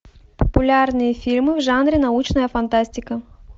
популярные фильмы в жанре научная фантастика